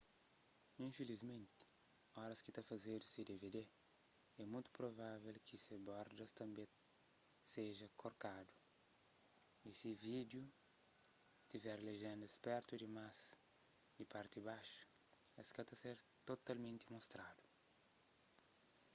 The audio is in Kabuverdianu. infilismenti oras ki ta fazedu se dvd é mutu provável ki se bordas tanbê seja korkadu y si vídiu tiver lejéndas pertu dimás di parti baxu es ka ta ser totalmenti mostradu